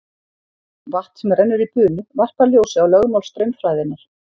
Vatn sem rennur í bunu varpar ljósi á lögmál straumfræðinnar.